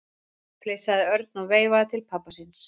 flissaði Örn og veifaði til pabba síns.